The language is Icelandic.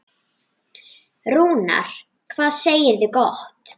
Rúnar, hvað segirðu gott?